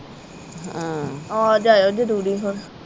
ਆ ਜਾਇਓ ਜਰੂਰੀ ਹੁਣ।